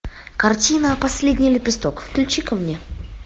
картина последний лепесток включи ка мне